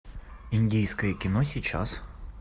индийское кино сейчас